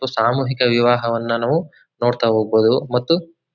ಇದು ಸಾಮೂಹಿಕ ವಿವಾಹವನ್ನ ನಾವು ನೋಡ್ತಾ ಹೋಗಬೋದು ಮತ್ತು--